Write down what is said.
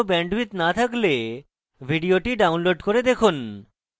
ভাল bandwidth না থাকলে ভিডিওটি download করে দেখুন